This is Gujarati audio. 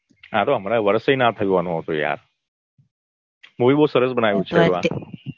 આ તો હમણાં વર્ષેય ના થયું હોય આનું તો યાર. movie બહુ સરસ બનાયું છે